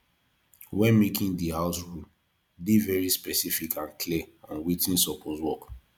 when making di house rule dey very specific and clear on wetin supoose work